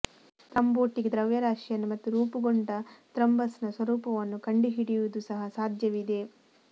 thrombotic ದ್ರವ್ಯರಾಶಿಯನ್ನು ಮತ್ತು ರೂಪುಗೊಂಡ ಥ್ರಂಬಸ್ನ ಸ್ವರೂಪವನ್ನು ಕಂಡುಹಿಡಿಯುವುದು ಸಹ ಸಾಧ್ಯವಿದೆ